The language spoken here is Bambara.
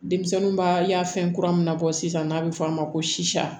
Denmisɛnninw baafɛn kura min na bɔ sisan n'a bɛ fɔ a ma ko sisa